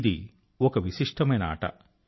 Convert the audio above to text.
ఇది ఒక విశిష్టమైన ఆట